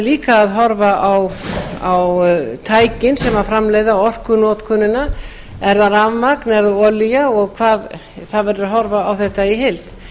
líka að horfa á tækin sem framleiða orkunotkunina eða rafmagn eða olía það verður að horfa á þetta í heild